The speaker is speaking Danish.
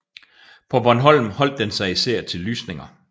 På Bornholm holdt den sig især til lysninger